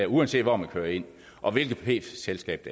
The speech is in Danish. uanset hvor man kører ind og hvilket p selskab